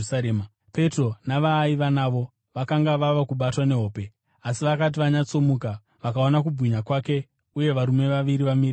Petro navaaiva navo vakanga vava kubatwa nehope, asi vakati vanyatsomuka, vakaona kubwinya kwake uye varume vaviri vamire naye.